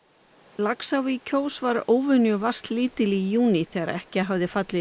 Laxá í Kjós var óvenjuvatnslítil í júní þegar ekki hafði fallið